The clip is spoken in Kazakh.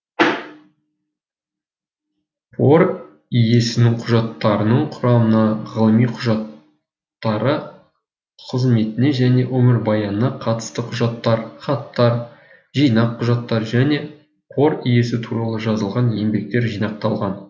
қор иесінің құжаттарының құрамына ғылыми құжаттары қызметіне және өмірбаянына қатысты құжаттар хаттар жинақ құжаттар және қор иесі туралы жазылған еңбектер жинақталған